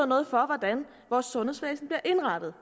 noget for hvordan vores sundhedsvæsen bliver indrettet